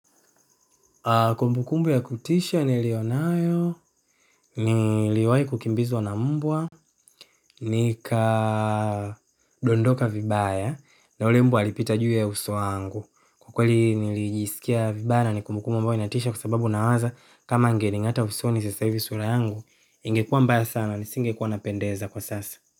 Kumbukumbu ya kutisha nilionayo, niliwahi kukimbizwa na mbwa, nikadondoka vibaya na yule mbwa alipita juu ya uso wangu. Kwa kweli nilijisikia vibaya na ni kumbukumbu ambayo inatisha kwa sababu nawaza kama angeningata usoni sasa hivi sura yangu, ingekuwa mbaya sana, nisingekuwa napendeza kwa sasa.